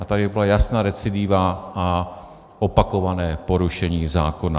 A tady byla jasná recidiva a opakované porušení zákona.